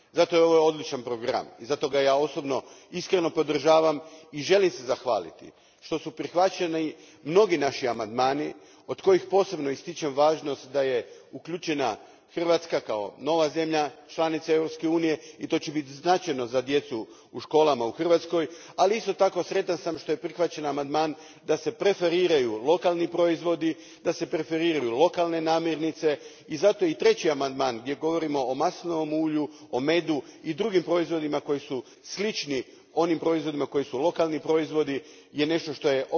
Zato je ovo odličan program i zato ga ja osobno iskreno podržavam i želim se zahvaliti što su prihvaćeni mnogi naši amandmani, od kojih posebno ističem važnost da je uključena Hrvatska kao nova zemlja članica Europske unije, i to će biti značajno za djecu u školama u Hrvatskoj, ali isto tako sam sretan što je prihvaćen amandman da se preferiraju lokalni proizvodi, da se preferiraju lokalne namirnice, i zato i treći amandman, gdje govorimo o maslinovom ulju, o medu i drugim proizvodima koji su slični onim proizvodima koji su lokalni proizvodi, je nešto što je